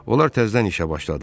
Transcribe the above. Onlar təzdən işə başladılar.